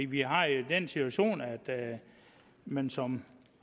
vi har jo den situation at man som